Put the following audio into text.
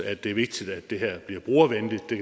at det er vigtigt at det her bliver brugervenligt og det